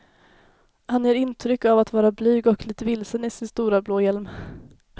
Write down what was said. Han ger intryck av att vara blyg och lite vilsen i sin stora blå hjälm.